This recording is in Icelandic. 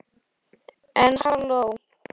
En halló.